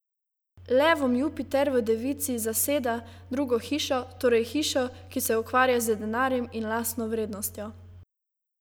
Levom Jupiter v devici zaseda drugo hišo, torej hišo, ki se ukvarja z denarjem in lastno vrednostjo.